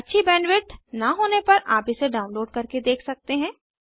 अच्छी बैंडविड्थ न होने पर आप इसे डाउनलोड करके देख सकते हैं